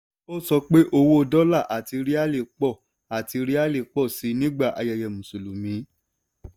ó sọ pé owó dólà àti ríálì pọ̀ àti ríálì pọ̀ sí i nígbà ayẹyẹ mùsùlùmí.